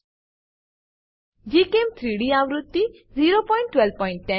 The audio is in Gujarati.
gchem3ડી આવૃત્તિ 01210